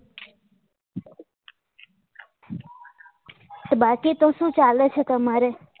તો બાકી તો શું ચાલે છે તમારે